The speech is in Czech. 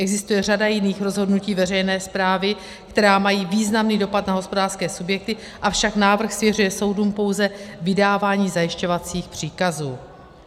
Existuje řada jiných rozhodnutí veřejné správy, která mají významný dopad na hospodářské subjekty, avšak návrh svěřuje soudům pouze vydávání zajišťovacích příkazů.